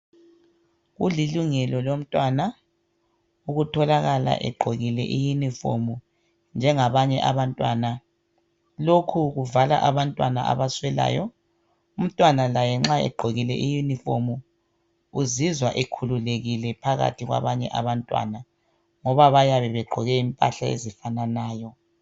Kulilungelo lomntwana ukutholakala egqokile iyunifomu njengabanye abantwana lokhu kuvala abantwana abaswelayo umntwana laye nxa egqokile iyunifomu uzizwa ekhululekile phakathi kwabanye abantwana ngoba bayabe begqoke impahla ezifananayo.